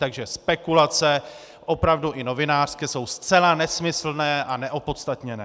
Takže spekulace, opravdu i novinářské, jsou zcela nesmyslné a neopodstatněné.